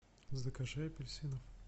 закажи апельсины